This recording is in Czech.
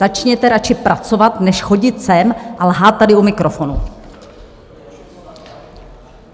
Začněte radši pracovat než chodit sem a lhát tady u mikrofonu.